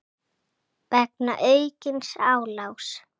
vegna aukins álags.